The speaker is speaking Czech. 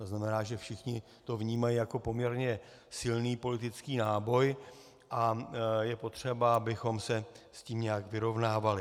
To znamená, že všichni to vnímají jako poměrně silný politický náboj, a je potřeba, abychom se s tím nějak vyrovnávali.